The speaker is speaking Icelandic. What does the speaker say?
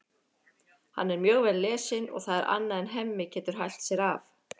Hann er mjög vel lesinn og það er annað en Hemmi getur hælt sér af.